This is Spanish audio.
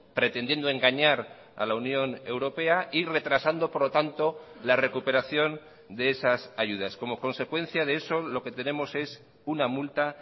pretendiendo engañar a la unión europea y retrasando por lo tanto la recuperación de esas ayudas como consecuencia de eso lo que tenemos es una multa